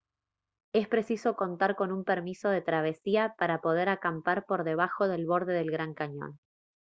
es preciso contar con un permiso de travesía para poder acampar por debajo del borde del gran cañón